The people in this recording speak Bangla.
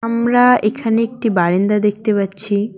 আমরা এখানে একটি বারেন্দা দেখতে পাচ্ছি।